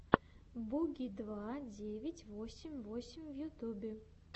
буги два девять восемь восемь в ютюбе